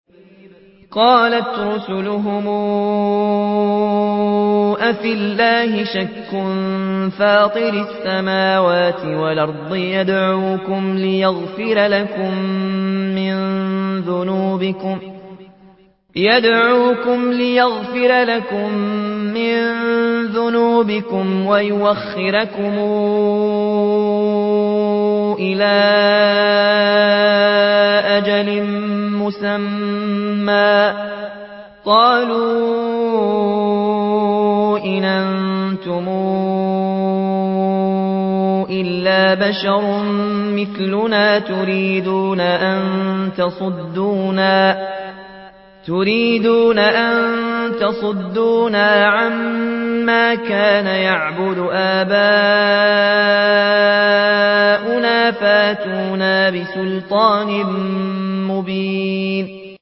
۞ قَالَتْ رُسُلُهُمْ أَفِي اللَّهِ شَكٌّ فَاطِرِ السَّمَاوَاتِ وَالْأَرْضِ ۖ يَدْعُوكُمْ لِيَغْفِرَ لَكُم مِّن ذُنُوبِكُمْ وَيُؤَخِّرَكُمْ إِلَىٰ أَجَلٍ مُّسَمًّى ۚ قَالُوا إِنْ أَنتُمْ إِلَّا بَشَرٌ مِّثْلُنَا تُرِيدُونَ أَن تَصُدُّونَا عَمَّا كَانَ يَعْبُدُ آبَاؤُنَا فَأْتُونَا بِسُلْطَانٍ مُّبِينٍ